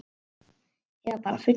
Eða bara fullur.